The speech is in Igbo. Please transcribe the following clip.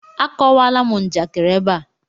Akọwala m njakịrị ebe a!